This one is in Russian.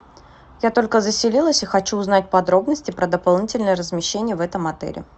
я только заселилась и хочу узнать подробности про дополнительное размещение в этом отеле